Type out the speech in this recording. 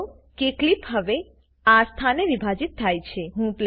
નોંધ લો કે ક્લીપ હવે આ સ્થાને વિભાજીત થાય છે